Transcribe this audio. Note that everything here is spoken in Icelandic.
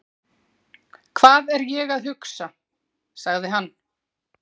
Hvað er ég að hugsa? sagði hann.